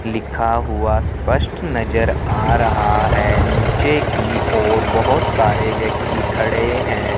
लिखा हुआ स्पष्ट नजर आ रहा है नीचे की ओर बहुत सारे व्यक्ति खड़े हैं।